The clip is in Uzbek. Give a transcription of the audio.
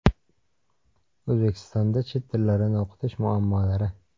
O‘zbekistonda chet tillarini o‘qitish muammolari.